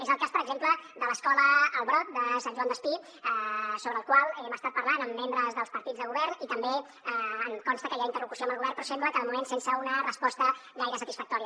és el cas per exemple de l’escola el brot de sant joan despí sobre el qual hem estat parlant amb membres dels partits de govern i també em consta que hi ha interlocució amb el govern però sembla que de moment sense una resposta gaire satisfactòria